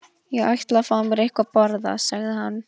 Ég ætla að fá mér eitthvað að borða sagði hann.